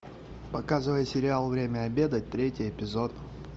показывай сериал время обедать третий эпизод